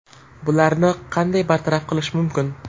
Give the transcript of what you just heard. Bularni qanday bartaraf qilish mumkin?